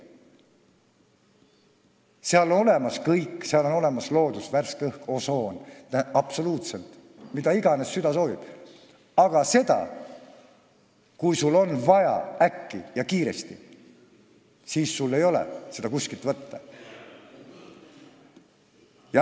Seal on olemas muu ehk loodus, värske õhk, osoon – absoluutselt kõik, mida iganes süda soovib –, aga kui sul on vaja teenust äkki ja kiiresti, siis seda ei ole sul kuskilt võtta.